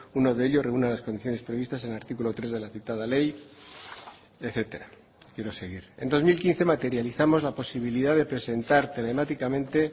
uno de ellos reúna las condiciones previstas en el artículo tres de la citada ley etcétera quiero seguir en dos mil quince materializamos la posibilidad de presentar telemáticamente